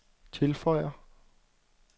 tilføjer